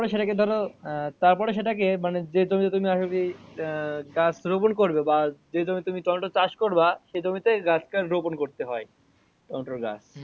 সেটা কে ধরো আহ তারপরে সেটা কে মানে যে তুমি আশা করি আহ গাছ রোপণ করবে বা যে তুমি টমেটো চাষ করবা সে জমি তে গাছ টা রোপণ করতে হয় টমেটোর গাছ।